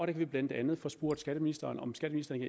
kan vi blandt andet få spurgt skatteministeren om skatteministeren